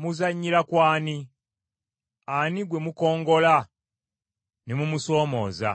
Muzannyira ku ani? Ani gwe mukongoola ne mumusoomooza?